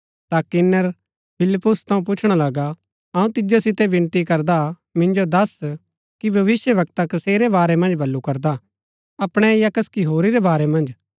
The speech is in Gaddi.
ता किन्‍नर फिलिप्पुस थऊँ पुछणा लगा अऊँ तिजो सितै विनती करदा मिन्जो दस कि भविष्‍यवक्ता कसेरै बारै मन्ज बल्लू करदा अपणै या कसकि होरी रै बारै मन्ज